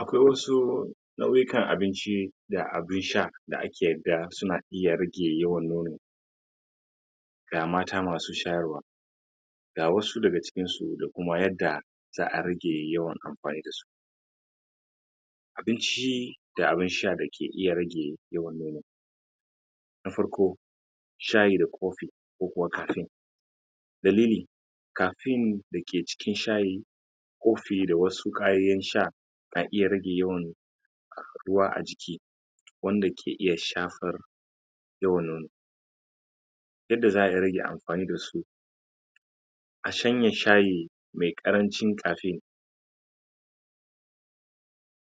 Akwai wasu nau'ikan abinci da abin sha da ake ga suna iya rage yawan nono ga mata masu shayarwa ga wasu daga cikin su da kuma yadda za'a rage yawan amfani da su abin ci da abin sha dake iya rage yawan nono na farko, shayi da coffee ko kuwa caffaine dalili caffaine da ke cikin shayi coffee da wasu kayayyakin sha ka iya rage yawan ruwa a jiki wanda ke iya shafar yawan nono yadda za'a yi rage amfani da su a shanye shayi me ƙarancin caffaine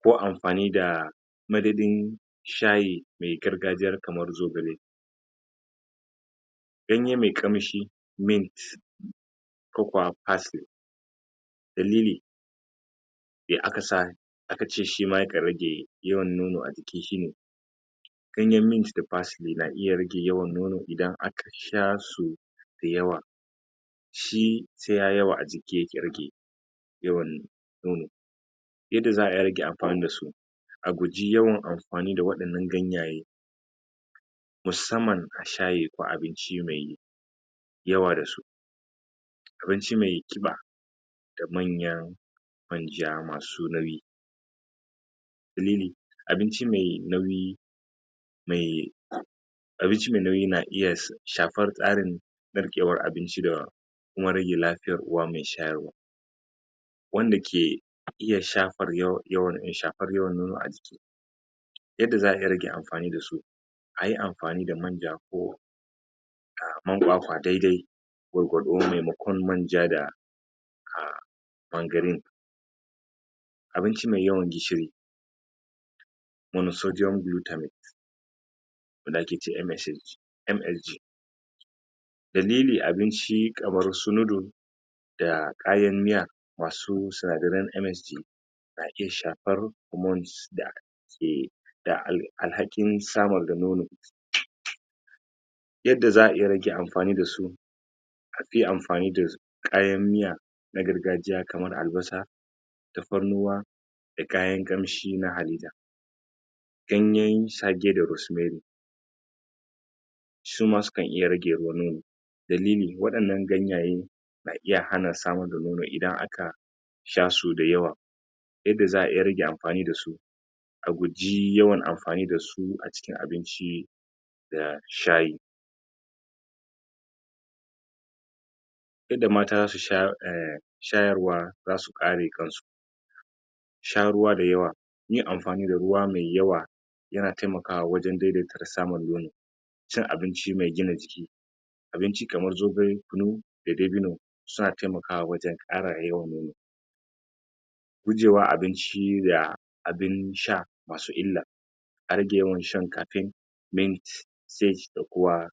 ko amfani da madadin shayi me gargajiya kamar zogale ganye me ƙamshi mint ko kuwa parsley dalili me aka sa aka ce shi ma yakan rage yawan nono a jiki shi ne ganyen mint da parsley na iya rage yawan nono idan aka sha sau da yawa shi sai yayi yawa a jiki yake rage yawan nono yadda za'a yi a rage amfani da su a guji yawan amfani da waɗannan ganyaye musamman a shayi ko abinci me yawa da su abinci me ƙiba da manyan manja masu nauyi me nene abinci me nauyi me abinci me nauyi na iya shafar tsarin narkewar abinci da kuma rage lafiyar uwa me shayarwa wanda ke iya shafar yawan nono a jiki yadda za'a iya rage amfani da su a yi amfani da manja ko ah, man kwakwa dai-dai gwargwado maimakon manja da ah manganine abinci me yawan gishiri monosodium glutamate wanda ake ce MSH MSG dalili abinci kamar su noodle da kayan miya masu sinadaran MSG na iya shafar hormones da ke da alhakin samar da nono yadda za'a iya rage amfani da su an fi amfani da kayan miya na gargajiya kamar albasa tafarnuwa da kayan ƙamshi na halitta ganyen saje da rosemarry suma sukan iya rage ruwan nono dalili waɗannan ganyayen na iya hana samar da nono, idan aka sha su da yawa yadda za'a iya rage amfani da su a guji yawan amfani da su a cikin abinci da shayi yadda mata zasu eh shayarwa zasu kare kan su sha ruwa da yawa, yin amfani da ruwa mai yawa yana taimakawa wajen daidaita da samun nono cin abinci mai gina jiki abinci kamar zogale, kunu da dabino suna taimakawa wajen ƙara yawan nono gujewa abin ci da abin sha masu illa a rage yawan shan caffaine, mint date da ko wa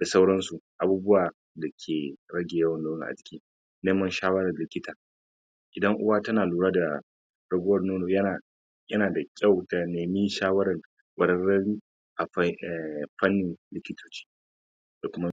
da sauran su, abubuwan da ke rage yawan nono a jiki neman shawaran likita idan uwa tana lura da raguwar nono yana yana da kyau ta nemi shawaran ƙwararrun a eh, a fanni da kuma